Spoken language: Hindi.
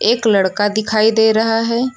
एक लड़का दिखाई दे रहा है।